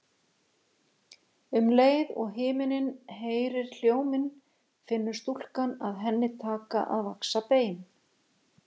Um leið og himinninn heyrir hljóminn finnur stúlkan að henni taka að vaxa bein.